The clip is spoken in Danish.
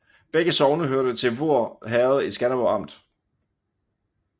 Begge sogne hørte til Voer Herred i Skanderborg Amt